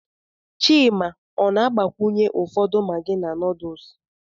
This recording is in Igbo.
Chima ọ na-agbakwunye ụfọdụ maggi na noodles?